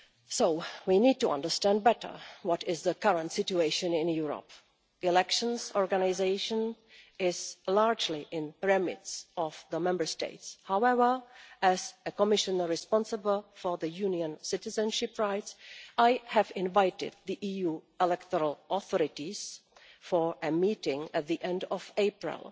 So we need to understand better what the current situation in Europe is. Organising elections is largely in the remit of the Member States. However, as a Commissioner responsible for Union citizenship rights, I have invited the EU electoral authorities for a meeting at the end of April.